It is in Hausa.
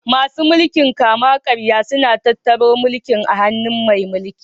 Masu mulkin kama karya suna tattara Iko a hannun mai mulƙi